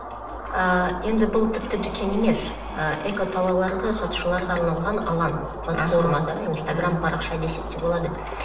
ыыы енді бұл тіпті дүкен емес ы экотоварларды сатушыларға арналған алаң платформа да инстаграм парақша десек те болады